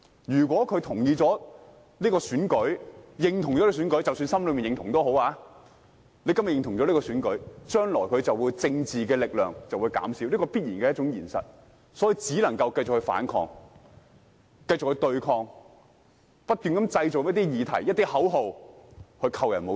如果他認同這次選舉，即使只是心裏認同，將來他的政治力量便會減少，這是必然的現實，所以只能繼續反抗、繼續對抗，不斷製造一些議題和口號來扣人帽子。